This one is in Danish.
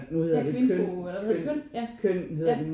Ja kvindko eller hvad hedder det KØN ja ja